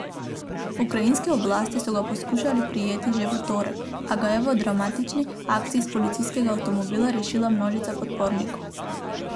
Ukrajinske oblasti so ga poskušale prijeti že v torek, a ga je v dramatični akciji iz policijskega avtomobila rešila množica podpornikov.